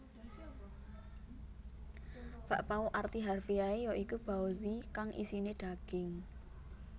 Bakpao arti harfiahe ya iku baozi kang isiné daging